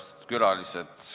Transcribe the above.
Austatud külalised!